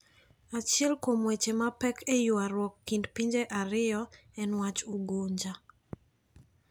Achiel kuom Weche mapek eywaruok kind pinje ariyogo en wach Ugunja.